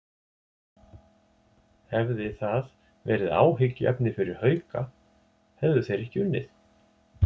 Hefði það verið áhyggjuefni fyrir Hauka, hefðu þeir ekki unnið?